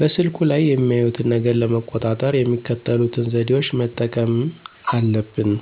በስልኩ ላይ የሚያዩትን ነገር ለመቆጣጠር የሚከተሉትን ዘዴዎች መጠቀምና አለብን፦